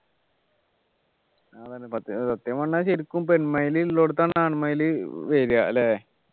അതെന്നെ സത്യം സത്യം പറഞ്ഞാൽ ശരിക്കും പെൺ മയില് ഇല്ല അടുത്താണ് ആൺ മയിലു വരിക അല്ലേ